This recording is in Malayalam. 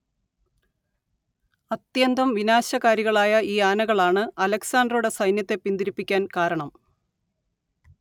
അത്യന്തം വിനാശകാരികളായ ഈ ആനകളാണ്‌ അലക്സാണ്ടറുടെ സൈന്യത്തെ പിന്തിരിപ്പിക്കാൻ കാരണം